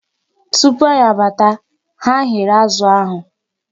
Tupu anyị abata, ha ghere azụ ahụ.